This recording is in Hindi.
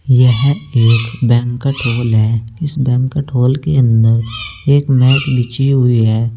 यह एक बैंक्वेट हॉल है इस बैंक्वेट हॉल के अंदर एक मैट बिछी हुई है।